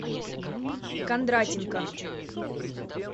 кондратенко